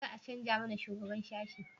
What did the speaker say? za a canja mana shugaban sashi?